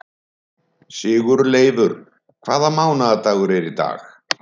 Sigurleifur, hvaða mánaðardagur er í dag?